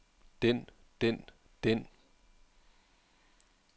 den den den